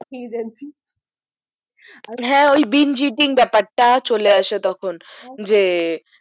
খেয়ে যাচ্ছি বিনজিডিং ব্যাপার টা চলে আছে তখন যে